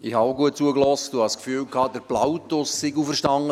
Ich habe auch gut zugehört und hatte das Gefühl, Plautus sei auferstanden.